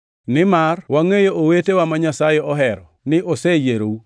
Nimar wangʼeyo, owetewa ma Nyasaye ohero, ni oseyierou,